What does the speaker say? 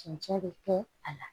Cɛncɛn bɛ kɛ a la